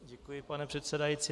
Děkuji, pane předsedající.